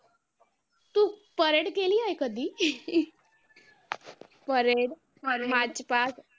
तू parade केली आहे कधी? parade